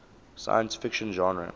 science fiction genre